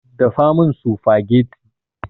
Dafa min sufagetti